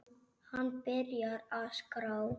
Hann byrjar að skrá.